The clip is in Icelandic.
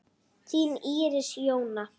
Þín Íris Jóna.